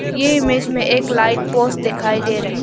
ये इमेज में एक लाइट पोस्ट दिखाई दे रहा है।